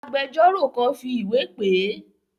Agbẹjọ́rò kan fi ìwé pè é.